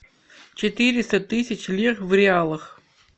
четыреста тысяч лир в реалах